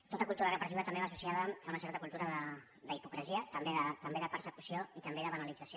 tota cultura repressiva també va associada a una certa cultura d’hipocresia també de persecució i també de banalització